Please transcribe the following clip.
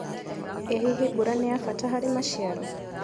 ĩ hihi mbura nĩ ya bata harĩ maciaro.